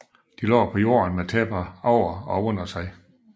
De lå på jorden med tæpper under og over sig